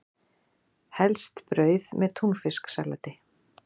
Helst brauð með túnfisksalati.